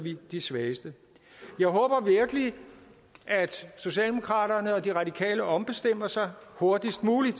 de svageste jeg håber virkelig at socialdemokraterne og de radikale ombestemmer sig hurtigst muligt